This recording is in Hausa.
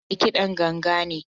Hamza mai kidan ganga ne.